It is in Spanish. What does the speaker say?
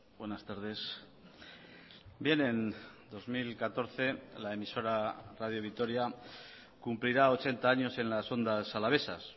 buenas tardes bien en dos mil catorce la emisora radio vitoria cumplirá ochenta años en las ondas alavesas